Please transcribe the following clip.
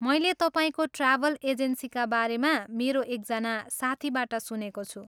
मैले तपाईँको ट्राभल एजेन्सीका बारेमा मेरो एकजना साथीबाट सुनेको छु।